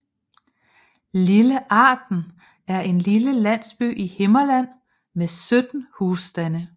Lille Arden er en lille landsby i Himmerland med 17 husstande